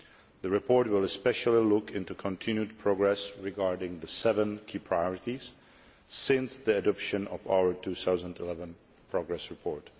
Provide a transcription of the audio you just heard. The report will especially look into continued progress on the seven key priorities since the adoption of our 2011 progress report.